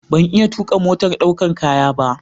Ban iya tuƙa motar ɗaukar kaya ba.